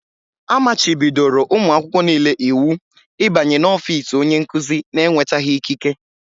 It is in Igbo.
A machibidoro ụmụ akwụkwọ niile iwu ịbanye n'ọfiisi onye nkuzi n'enwetaghị ikike.